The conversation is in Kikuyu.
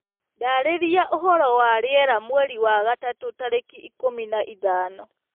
ndariria ũhoro wa rĩera mwerĩ wa gatatu tarĩkĩ ikumi na ithano